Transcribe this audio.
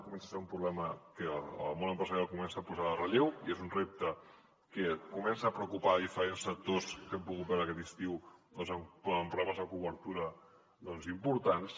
comença a ser un problema que el món empresarial comença a posar en relleu i és un repte que comença a preocupar a diferents sectors que hem pogut veure aquest estiu doncs amb problemes de cobertura importants